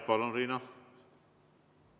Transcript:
Palun, Riina!